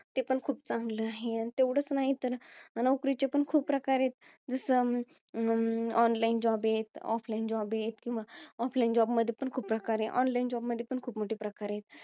ते पण खूप चांगलं आहे. तेवढंच नाही तर, नोकरीचे पण खूप प्रकार आहेत. जसं, अं online job आहे. Offline job आहे. Offline job मध्ये पण खूप प्रकार आहे. Online job मध्ये पण खूप मोठे प्रकार आहे.